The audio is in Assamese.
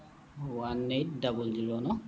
one eight double zero no